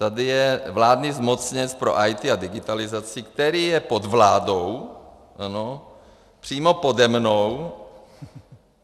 Tady je vládní zmocněnec pro IT a digitalizaci, který je pod vládou, ano, přímo pode mnou.